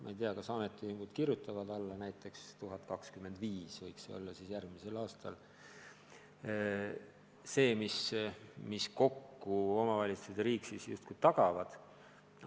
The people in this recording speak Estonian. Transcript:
Ma ei tea, kas ametiühingud kirjutavad alla, et näiteks 1025 eurot võiks see palk olla järgmisel aastal – see, mis omavalitsused ja riik kokku tagavad.